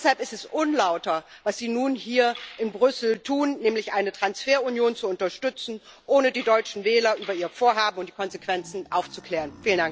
Deshalb ist es unlauter, was Sie nun hier in Straßburg tun, nämlich eine Transferunion zu unterstützen, ohne die deutschen Wähler über Ihr Vorhaben und die Konsequenzen aufzuklären.